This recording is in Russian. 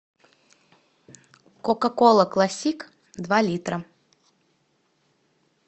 кока кола классик два литра